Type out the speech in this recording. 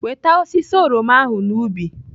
Weta osisi oroma ahụ n'ubi!